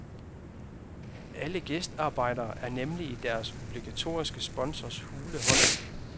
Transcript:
Alle gæstearbejdere er nemlig i deres obligatoriske sponsors hule hånd.